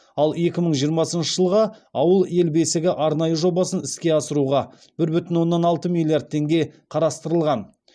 ал екі мың жиырмасыншы жылға ауыл ел бесігі арнайы жобасын іске асыруға бір бүтін оннан алты миллиард теңге қарастырылған